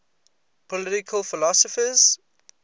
political philosophers